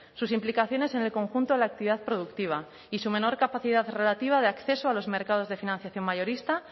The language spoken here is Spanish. sus implicaciones en el conjunto de la actividad productiva y su menor capacidad relativa de acceso a los mercados de financiación mayorista